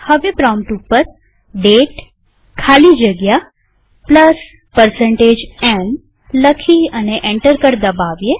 prompt ઉપર દાતે ખાલી જગ્યા m લખી અને એન્ટર કળ દબાવીએ